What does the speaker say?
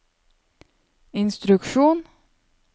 instruksjon